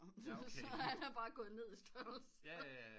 Så han er bare gået ned i størrelse